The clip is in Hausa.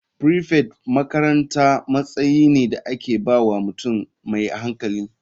Prefect makaranta matsayi ne da aka ba wa mutum mai hankali.